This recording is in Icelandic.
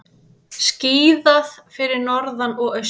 Skíðað fyrir norðan og austan